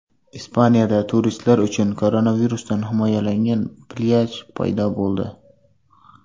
Ispaniyada turistlar uchun koronavirusdan himoyalangan plyaj paydo bo‘ldi .